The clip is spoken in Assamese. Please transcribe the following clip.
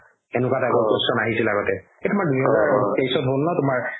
সেনেকুৱা type question আহিছিল আগতে হ'ল ন তুমাৰ